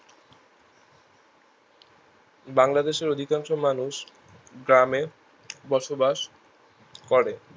বাংলাদেশের অধিকাংশ মানুষ গ্রামে বসবাস করে